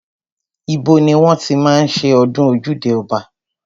Ibo ni wọ́n ti máa ń ṣe ọdún ojúde ọba?